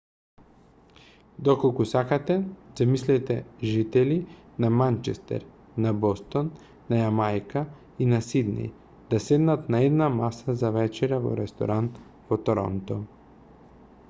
доколку сакате замислете жители на манчестер на бостон на јамајка и на сиднеј да седнат на една маса за вечера во ресторан во торонто